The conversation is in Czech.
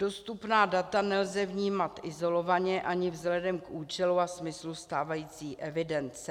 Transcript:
Dostupná data nelze vnímat izolovaně ani vzhledem k účelu a smyslu stávající evidence.